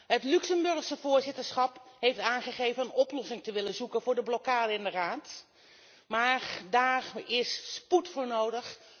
Het Luxemburgse voorzitterschap heeft aangegeven een oplossing te willen zoeken voor de blokkade in de Raad, maar daar is spoed voor nodig.